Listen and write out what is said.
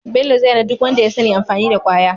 bello zai hana duk wanda yasani amfani da kwaya